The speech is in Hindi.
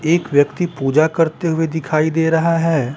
एक व्यक्ति पूजा करते हुए दिखाई दे रहा है।